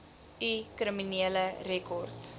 u kriminele rekord